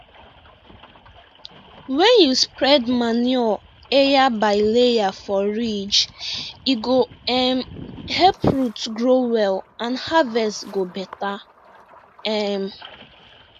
wen you spread manure ayer by layer for ridge e go um help root grow well and harvest go better um